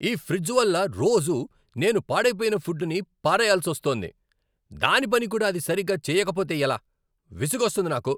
ఈ ఫ్రిడ్జు వల్ల రోజూ నేను పాడైపోయిన ఫుడ్డుని పారేయాల్సొస్తోంది. దాని పని కూడా అది సరిగా చేయకపోతే ఎలా.. విసుగొస్తుంది నాకు!